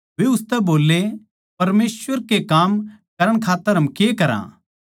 वे उसतै बोल्ले परमेसवर के काम करण खात्तर हम के करा